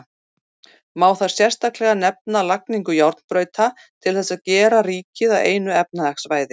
Má þar sérstaklega nefna lagningu járnbrauta til þess að gera ríkið að einu efnahagssvæði.